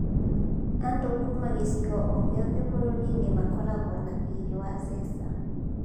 "Andũ kuuma gĩcigo o gĩothe bũrũri-inĩ makoragwo na thiirĩ wa Zesa".